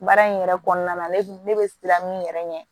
Baara in yɛrɛ kɔnɔna ne ne bɛ siran min yɛrɛ ɲɛ